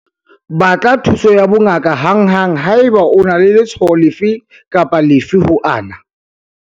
Batla thuso ya bongaka hanghang haeba o na le letshwao lefe kapa lefe ho ana.